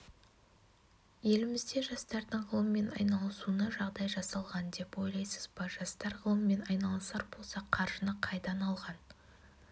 елімізде жастардың ғылыммен айналысуына жағдай жасалған деп ойлайсыз ба жастар ғылыммен айналысар болса қаржыны қайдан алған